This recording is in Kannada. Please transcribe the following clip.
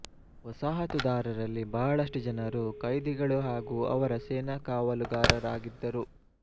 ವಸಾಹತುದಾರರಲ್ಲಿ ಬಹಳಷ್ಟು ಜನರು ಕೈದಿಗಳು ಹಾಗೂ ಅವರ ಸೇನಾ ಕಾವಲುಗಾರರಾಗಿದ್ದರು